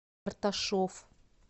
карташов